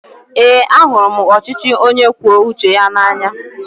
Eé, ahụrụ m ọchịchị onye kwue uche ya n'anya.